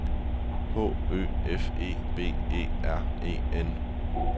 H Ø F E B E R E N